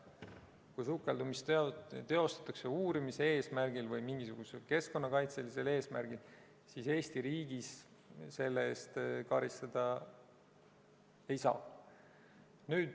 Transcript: Kui sukeldumist tehakse uurimise eesmärgil või mingisugusel keskkonnakaitselisel eesmärgil, siis Eesti riigis selle eest karistada ei saa.